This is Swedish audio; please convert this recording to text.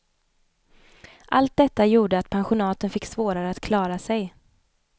Allt detta gjorde att pensionaten fick svårare att klara sig.